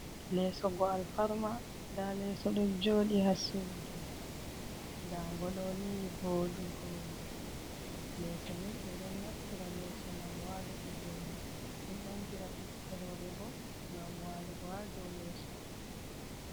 Leeso ngo alfarma, ndaa leeso ɗo jooɗi haa suudu, ndaa ngo ɗo, ni vooɗugo. Leeso ni ɓe ɗon naftira leeso, ngam waaluki dow may, ɗon ɓangira ɓiɓɓe rowɓe bo, ngam waalugo haa dow leeso.